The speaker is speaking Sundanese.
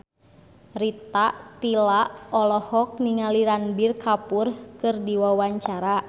Rita Tila olohok ningali Ranbir Kapoor keur diwawancara